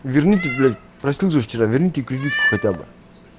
верните блять проснулся вчера верните кредитку хотя бы